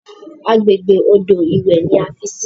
Àgbègbè odò ìwẹ̀ ni a fi sí.